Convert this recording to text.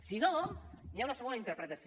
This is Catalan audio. si no hi ha una segona interpretació